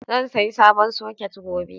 Zan sayi sabon soket gobe.